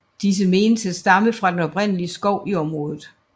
Disse menes at stamme fra den oprindelige skov i området